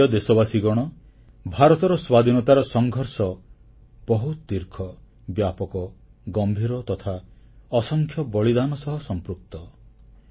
ମୋ ପ୍ରିୟ ଦେଶବାସୀଗଣ ଭାରତର ସ୍ୱାଧୀନତାର ସଂଘର୍ଷ ବହୁତ ଦୀର୍ଘ ବ୍ୟାପକ ଗମ୍ଭୀର ତଥା ଅସଂଖ୍ୟ ବଳିଦାନ ସହ ସମ୍ପୃକ୍ତ